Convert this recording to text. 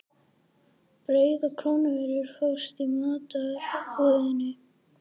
Brauð og kornvörur fást í matvörubúðinni.